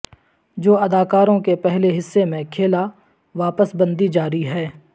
جو اداکاروں کے پہلے حصے میں کھیلا واپس بندی جاری ہے